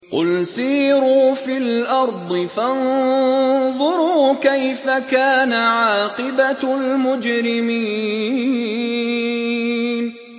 قُلْ سِيرُوا فِي الْأَرْضِ فَانظُرُوا كَيْفَ كَانَ عَاقِبَةُ الْمُجْرِمِينَ